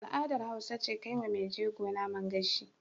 Al'adar Hausa ce kaiwa Mai jego Naman gashi